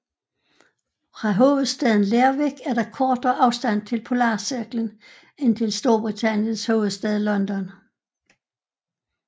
Fra hovedstaden Lerwick er der kortere afstand til polarcirklen end til Storbritanniens hovedstad London